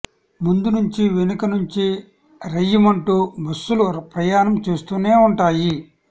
ముందు నుంచి వెనక నుంచి రయ్యిమంటూ బస్సులు ప్రయాణం చేస్తూనే ఉంటాయి